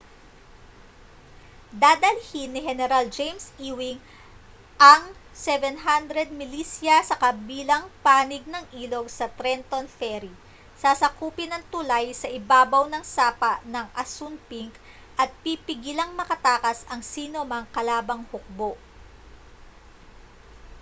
dadalhin ni heneral james ewing ang 700 milisya sa kabilang panig ng ilog sa trenton ferry sasakupin ang tulay sa ibabaw ng sapa ng assunpink at pipigilang makatakas ang sinomang kalabang hukbo